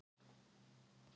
Guð mun dæma þá.